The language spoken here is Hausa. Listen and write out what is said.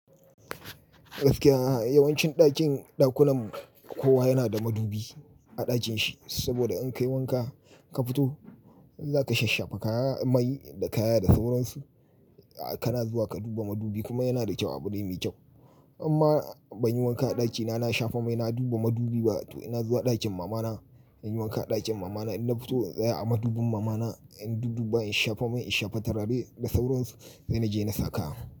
Gaskiya a'a yawancin ɗakin ɗakunan kowa yana da madubi a ɗakinshi saboda in kai wanka ka fito in zaka shashafa kaya mai da kaya da sauransu a kana zuwa ka duba madubi kuma yana da kyau abu dai mai kyau. Imma ban yi wanka a ɗakina na shafa mai na duba madubi ba to ina zuwa ɗakin mamana in yi wanka a ɗakin mamana ina fito tsaya a madubin mamana in dudduba in shafa mai in shafa turare da sauran su sai naje na saka.